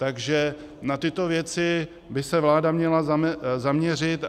Takže na tyto věci by se vláda měla zaměřit.